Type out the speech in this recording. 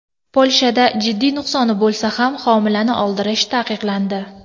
Polshada jiddiy nuqsoni bo‘lsa ham homilani oldirish taqiqlandi.